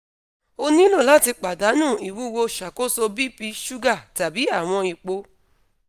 o nilo lati padanu iwuwo ṣakoso bp suga tabi awọn epo